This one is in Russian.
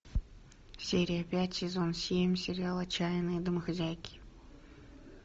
серия пять сезон семь сериал отчаянные домохозяйки